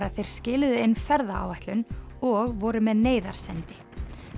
að þeir skiluðu inn ferðaáætlun og voru með neyðarsendi